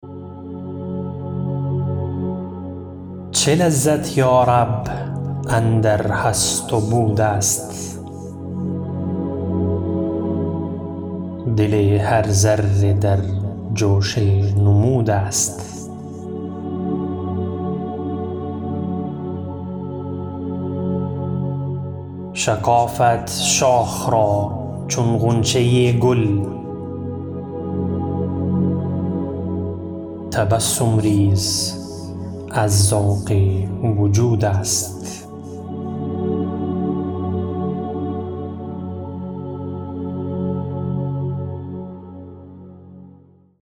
چه لذت یارب اندر هست و بود است دل هر ذره در جوش نمود است شکافد شاخ را چون غنچه گل تبسم ریز از ذوق وجود است